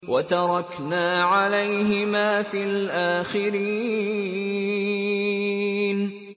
وَتَرَكْنَا عَلَيْهِمَا فِي الْآخِرِينَ